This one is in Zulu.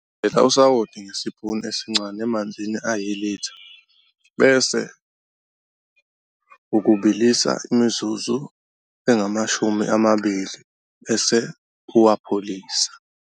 Thela usawoti ngesipuni esincane emanzini ayilitha bese ukubilisa imizuzu engamashumi amabili bese uwapholise.